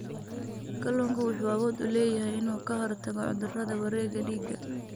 Kalluunku wuxuu awood u leeyahay inuu ka hortago cudurrada wareegga dhiigga.